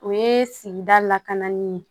O ye sigida lakananin ye